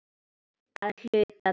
Að hluta til.